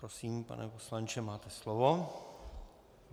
Prosím, pane poslanče, máte slovo.